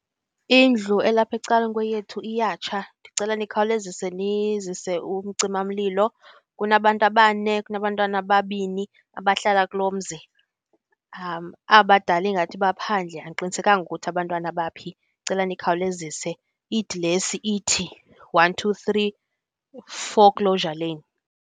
Indlu elapha ecaleni kweyethu iyatsha ndicela nikhawulezise nizise umcimamlilo. Kunabantu abane, kunabantwana ababini abahlala kulo mzi. Aba badala ingathi baphandle, andiqinisekanga ukuthi abantwana baphi, ndicela nikhawulezise. Idilesi ithi, one two three Foreclosure Lane.